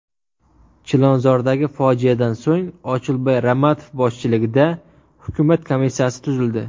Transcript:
Chilonzordagi fojiadan so‘ng Ochilboy Ramatov boshchiligida hukumat komissiyasi tuzildi.